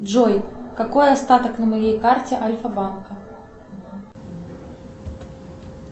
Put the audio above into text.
джой какой остаток на моей карте альфа банка